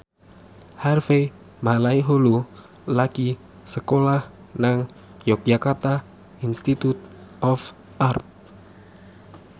Harvey Malaiholo lagi sekolah nang Yogyakarta Institute of Art